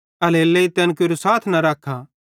एल्हेरेलेइ तैन केरू साथ न रखा